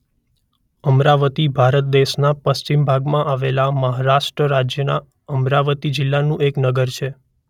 અમરાવતી ભારત દેશના પશ્ચિમ ભાગમાં આવેલા મહારાષ્ટ્ર રાજ્યના અમરાવતી જિલ્લાનું એક નગર છે.